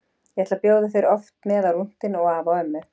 Ég ætla að bjóða þér oft með á rúntinn og afa og ömmu.